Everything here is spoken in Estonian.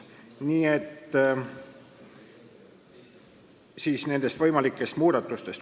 Nii et nüüd nendest võimalikest muudatustest.